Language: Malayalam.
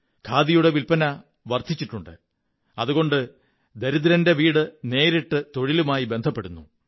ഖാദിയുടെ വില്പ്പ ന വര്ധിിച്ചിട്ടുണ്ട് അതുകൊണ്ട് ദരിദ്രന്റെ വീട് നേരിട്ട് തൊഴിലുമായി ബന്ധപ്പെടുന്നു